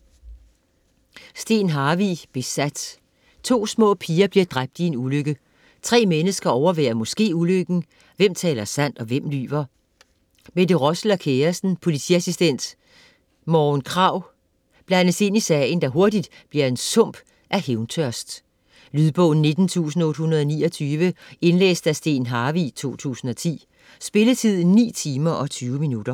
Harvig, Steen: Besat To små piger bliver dræbt i en ulykke. Tre mennesker overværer måske ulykken. Hvem taler sandt og hvem lyver? Mette Rossel og kæresten, politiassistent Morgen Krag blandes ind i sagen, der hurtigt bliver en sump af hævntørst. Lydbog 19829 Indlæst af Steen Harvig, 2010. Spilletid: 9 timer, 20 minutter.